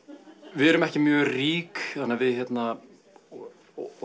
við erum ekki mjög rík þannig að við og